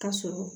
Ka sɔrɔ